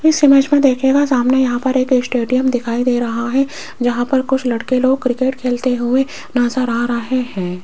इस इमेज में देखिएगा सामने यहां पर एक स्टेडियम दिखाई दे रहा है जहां पर कुछ लड़के लोग क्रिकेट खेलते हुए नजर आ रहे हैं।